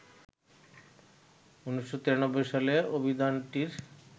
১৯৯৩ সালে অভিধানটির